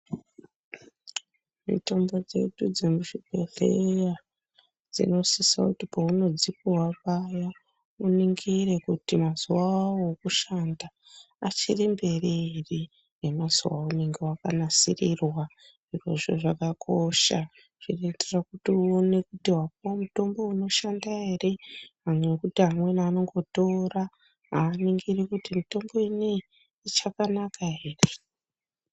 Mitombo dzedu dzemuzvibhehleya dzunosisa kuti paunodzipuhwa paya uningire kuti mazuwa awo ekushanda achiri mberi ere nemazuwa aunenge wanasirirwa zvirozvo zvakakosha zvinoitira kuti upone kuti wapuhwa mitombo inoshanda ere nekuti amweni anongotora avaningiri kuti mutombo uyu uchakanaka ere?